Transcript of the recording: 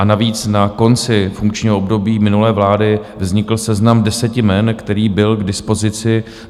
A navíc, na konci funkčního období minulé vlády vznikl seznam deseti jmen, který byl k dispozici.